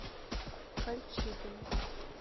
кольчугино